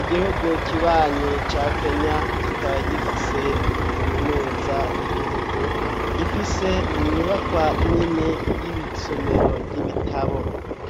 Igihugu kibanyi ca kenya kikaba gifise kaminuza y'igihugu ifise inyuba kwa nini y'ibisomero ry'ibitabo,